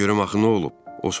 De görüm axı nə olub?